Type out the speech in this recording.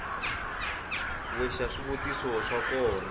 we xa swivutiso swo koma